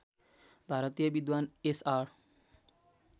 भारतीय विद्वान्‌ एसआर